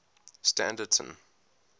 standerton